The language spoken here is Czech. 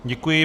Děkuji.